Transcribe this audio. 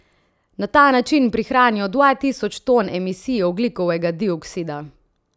Na ta način prihranijo dva tisoč ton emisij ogljikovega dioksida.